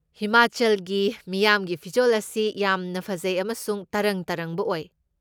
ꯍꯤꯃꯥꯆꯜꯒꯤ ꯃꯤꯌꯥꯝꯒꯤ ꯐꯤꯖꯣꯜ ꯑꯁꯤ ꯌꯥꯝꯅ ꯐꯖꯩ ꯑꯃꯁꯨꯡ ꯇꯔꯪ ꯇꯔꯪꯕ ꯑꯣꯏ꯫